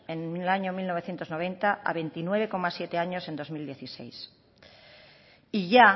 en el año mil novecientos noventa a veintinueve coma siete años en dos mil dieciséis y ya